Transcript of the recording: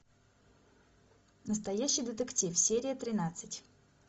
настоящий детектив серия тринадцать